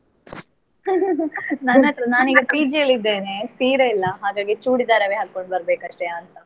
ನನ್ ಹತ್ರ ನಾನ್ ಈಗ PG ಅಲ್ಲಿ ಇದ್ದೇನೆ, ಸೀರೆ ಇಲ್ಲ ಹಾಗಾಗಿ ಚೂಡಿದಾರವೇ ಹಾಕೊಂಡು ಬರ್ಬೇಕು ಅಷ್ಟೇಯಾ ಅಂತ.